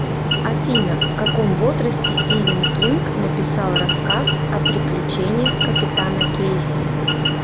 афина в каком возрасте стивен кинг написал рассказ о приключениях капитана кейси